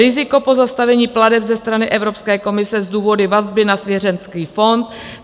Riziko pozastavení plateb ze strany Evropské komise s důvody vazby na svěřenecký fond.